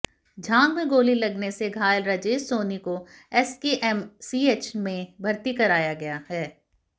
जांघ में गाेली लगने से घायल राजेश साेनी काे एसकेएमसीएच में भर्ती कराया गया है